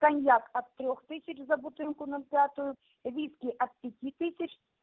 коньяк от трёх тысяч за бутылку ноль пятую виски от пяти тысяч